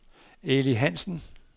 Eli Hansen